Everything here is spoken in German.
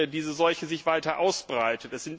diese Seuche sich weiter ausbreitet.